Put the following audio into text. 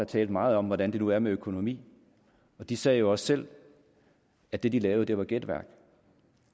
talte meget om hvordan det nu er med økonomien og de sagde jo også selv at det de lavede var gætværk